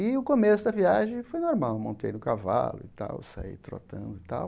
E o começo da viagem foi normal, montei no cavalo e tal, saí trotando e tal.